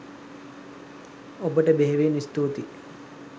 ඔබට බෙහෙවින් ස්තුතියි